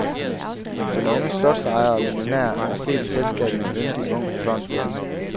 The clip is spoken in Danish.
Den unge slotsejer og millionær er set i selskab med en yndig, ung blond dame.